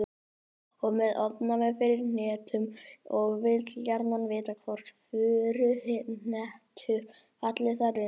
Ég er með ofnæmi fyrir hnetum og vil gjarnan vita hvort furuhnetur falli þar undir.